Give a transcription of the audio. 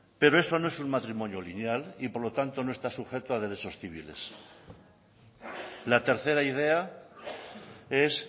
pero eso no es un matrimonio lineal y por lo tanto no está sujeto a derechos civiles la tercera idea es